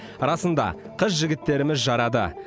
расында қыз жігіттеріміз жарады